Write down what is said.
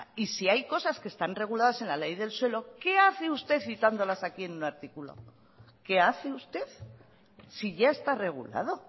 y si hay cosas que están reguladas en la ley del suelo qué hace usted citándolas aquí en un artículo qué hace usted si ya esta regulado